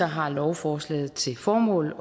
har lovforslaget til formål